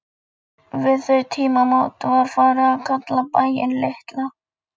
Við þau tímamót var farið að kalla bæinn Litla